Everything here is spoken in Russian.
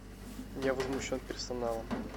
я возмущен персоналом